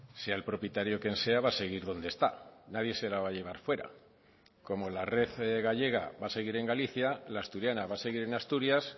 sea el propietario quien sea va a seguir donde está nadie se la va a llevar fuera como la red gallega va a seguir en galicia la asturiana va a seguir en asturias